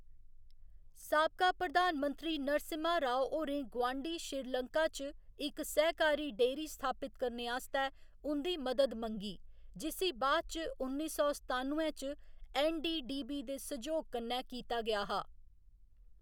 साबका प्रधानमंत्री नरसिम्हा राव होरें गुआंढी श्रीलंका च इक सैह्‌कारी डेअरी स्थापत करने आस्तै उं'दी मदद मंगी, जिसी बाद इच उन्नी सौ सतानुए च ऐन्न. डी. डी. बी. दे सैह्‌योग कन्नै कीता गेआ हा।